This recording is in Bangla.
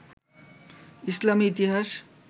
ইসলামী ইতিহাস